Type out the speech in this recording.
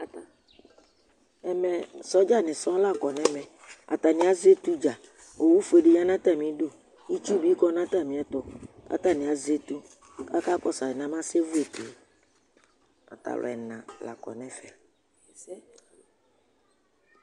ɛmɛ soldier ni sɔɔ lakɔ nʋ ɛmɛ ,atani azɛ ɛtʋ dza ɔwʋ ƒʋɛ di lɛnʋ atami idʋ, itsʋ bikɔnʋ atami ɛtʋ kʋ atani azɛ ɛtʋ kʋ aka kɔsʋ alɛnɛ aba sɛ vʋ, atalʋ ɛna lakɔ nʋ ɛƒɛ